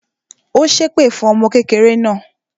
Ó ṣẹ́ èpè fún ọmọ kékeré náà